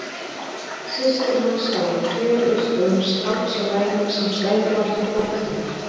Systir hans hafði fjölyrt um strákræfil sem stæði vart á fótunum.